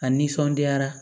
A nisɔndiyara